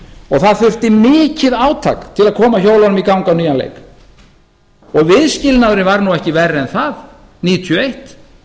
og það þurfti mikið átak til að koma hjólunum í gang á nýjan leik viðskilnaðurinn var nú ekki verri en það nítján hundruð níutíu og eitt